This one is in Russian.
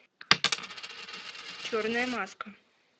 черная маска